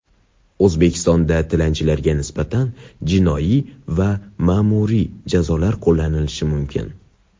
O‘zbekistonda tilanchilarga nisbatan jinoiy va ma’muriy jazolar qo‘llanilishi mumkin.